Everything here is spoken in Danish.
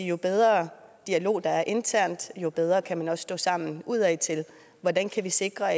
jo bedre dialog der er internt jo bedre kan man også stå sammen udadtil hvordan kan vi sikre